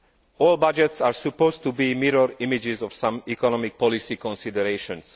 All budgets are supposed to be mirror images of some economic policy considerations.